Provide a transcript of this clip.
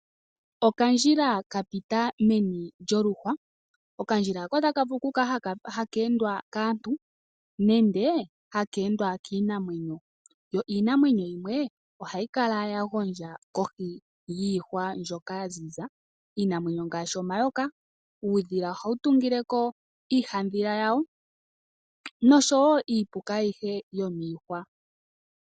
Okandjila ka pita meni lyoluhwa. Okandila haka otaka vulu okukala haka endwa kaantu nenge haka endwa kiinamwenyo. Yo iinamwenyo yimwe ohayi kala ya gondja kohi yiihwa mbyoka ya ziza iinamwenyo ngaashi omayoka. Uudhila ohawu tungile ko iihadhila yawo nosho wo iipuka ayihe yomiihwa.